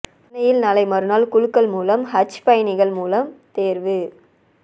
சென்னையில் நாளை மறுநாள் குலுக்கல் மூலம் ஹஜ் பயணிகள் மூலம் தேர்வு